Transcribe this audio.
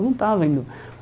Não estava indo.